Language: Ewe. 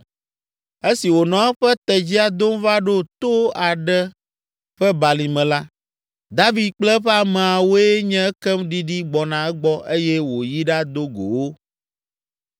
Esi wònɔ eƒe tedzia dom va ɖo to aɖe ƒe balime la, David kple eƒe ameawoe nye ekem ɖiɖi gbɔna egbɔ eye wòyi ɖado go wo.